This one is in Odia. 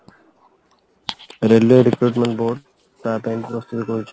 railway recruitment ବହୁତ ତା ପାଇଁ ବି ପ୍ରସ୍ତୁତ କରୁଛି